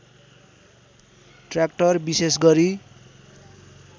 tractor विशेष गरी